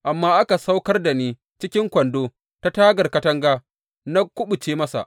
Amma aka saukar da ni cikin kwando ta tagar katanga, na kuɓuce masa.